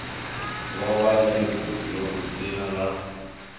vhuvha ḽeibu ḽu dzina ḽa